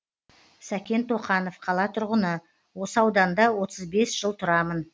сәкен тоқанов қала тұрғыны осы ауданда отыз бес жыл тұрамын